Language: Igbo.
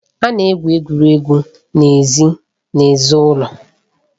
A na-egwu egwuregwu n'èzí n'èzí ụlọ